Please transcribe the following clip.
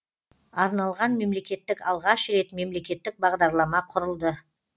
арналған мемлекеттік алғаш рет мемлекеттік бағдарлама құрылды